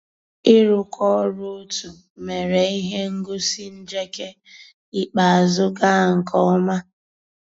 ị́ rụ́kọ̀ ọ́rụ́ ótú mérè íhé ngósì njéké ikpéázụ́ gàà nkè ọ́má.